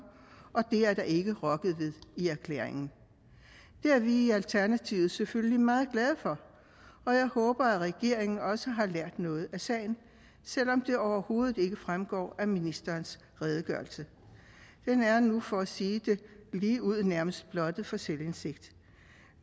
og det er der ikke rokket ved i erklæringen det er vi i alternativet selvfølgelig meget glade for og jeg håber at regeringen også har lært noget af sagen selv om det overhovedet ikke fremgår af ministerens redegørelse den er nu for sige det ligeud nærmest blottet for selvindsigt